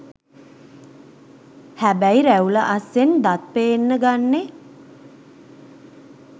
හැබැයි රැවුල අස්සෙන් දත් පේන්න ගන්නෙ